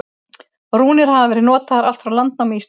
Rúnir hafa verið notaðar allt frá landnámi Íslands.